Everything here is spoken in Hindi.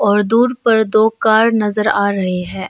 और दूर पर दो कार नजर आ रहे हैं।